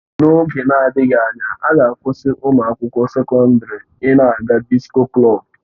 N'oge na-adịghị anya, a ga-akwụsị ụmụ akwụkwọ sekọndrị ị na-aga disko klọb